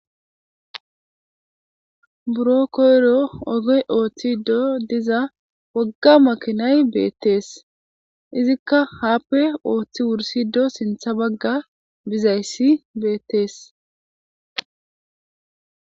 buro koyro ogoy ooththido diza wogga makinay beettees, izikka haappe ooththi wursido sintha bagga bizayssi beettees